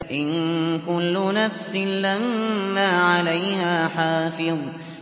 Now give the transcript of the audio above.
إِن كُلُّ نَفْسٍ لَّمَّا عَلَيْهَا حَافِظٌ